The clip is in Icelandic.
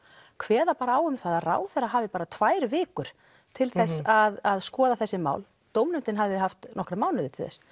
kveða bara á um að ráðherra hafi bara tvær vikur til þess að skoða þessi mál en dómnefndin hafði haft nokkra mánuði til þess